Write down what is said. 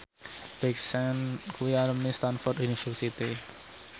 Big Sean kuwi alumni Stamford University